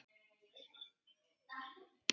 Hitt var Hel.